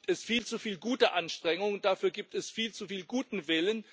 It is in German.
Dafür gibt es viel zu viele gute Anstrengungen, dafür gibt es viel zu viel guten Willen